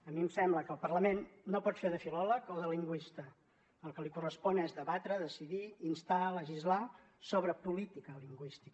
a mi em sembla que el parlament no pot fer de filòleg o de lingüista el que li correspon és debatre decidir instar legislar sobre política lingüística